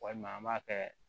Walima an b'a kɛ